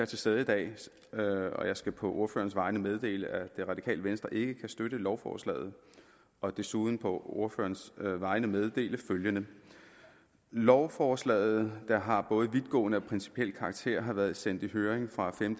til stede i dag og jeg skal på ordførerens vegne meddele at radikale venstre ikke kan støtte lovforslaget og desuden på ordførerens vegne meddele følgende lovforslaget der har både vidtgående og principiel karakter har været sendt i høring fra den